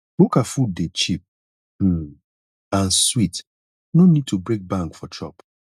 bukka food dey cheap um and sweet no need to break bank for chop